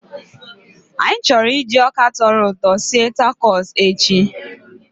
Anyị chọrọ iji ọka tọrọ ụtọ sie takos echi